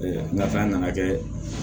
nga fɛn nana kɛ